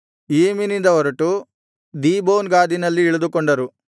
ಇಯ್ಯೀಮಿನಿಂದ ಹೊರಟು ದೀಬೋನ್ ಗಾದಿನಲ್ಲಿ ಇಳಿದುಕೊಂಡರು